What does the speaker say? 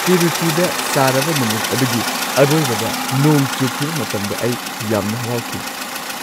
ꯇꯤꯔꯨꯆꯤꯗ ꯁꯥꯔꯕ ꯅꯨꯃꯤꯠ ꯑꯗꯨꯒꯤ ꯑꯔꯣꯏꯕꯗ ꯅꯣꯡ ꯆꯨꯈꯤꯕ ꯃꯇꯝꯗ ꯑꯩ ꯌꯥꯝꯅ ꯍꯔꯥꯎꯈꯤ꯫